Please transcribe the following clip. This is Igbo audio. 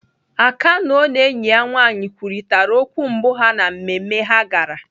Akannœ na enyi ya nwaanyị kwurịtara okwu mbụ ha na mmemme ha gara.